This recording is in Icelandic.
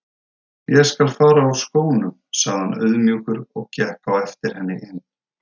Ég skal fara úr skónum sagði hann auðmjúkur og gekk á eftir henni inn.